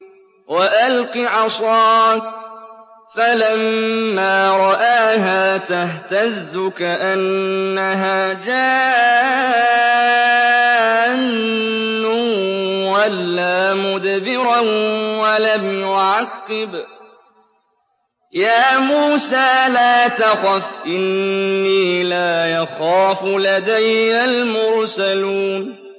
وَأَلْقِ عَصَاكَ ۚ فَلَمَّا رَآهَا تَهْتَزُّ كَأَنَّهَا جَانٌّ وَلَّىٰ مُدْبِرًا وَلَمْ يُعَقِّبْ ۚ يَا مُوسَىٰ لَا تَخَفْ إِنِّي لَا يَخَافُ لَدَيَّ الْمُرْسَلُونَ